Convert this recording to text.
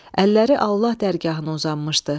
Əlləri Allah dərgahına uzanmışdı.